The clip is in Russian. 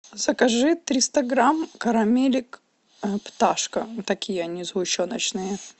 закажи триста грамм карамелек пташка такие они сгущеночные